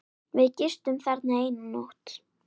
Við gistum þarna eina nótt.